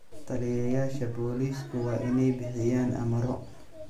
Taliyeyaasha booliisku waa inay bixiyaan amarro.